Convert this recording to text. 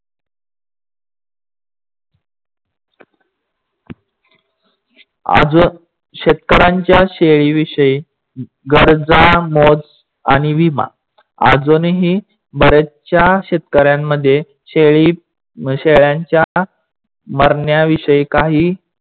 अजून शेतकऱ्यांच्या शेळी विषयी गरजा, मोज आणि विमा अजूनही बऱ्यासहशया शेतकऱ्यांमध्ये शेळी म्हशयांच्या मारण्याविषयी काही